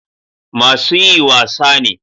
Masu yi wasa ne